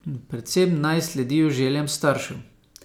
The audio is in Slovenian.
Predvsem naj sledijo željam staršev.